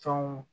Fɛnw